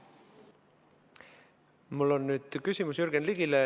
Mul on nüüd küsimus Jürgen Ligile.